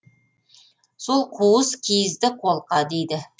сол қуыс киізді қолқа дейді